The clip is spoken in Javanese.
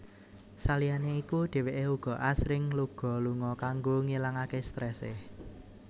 Saliyane iku dheweke uga asring luga lunga kanggo ngilangake strese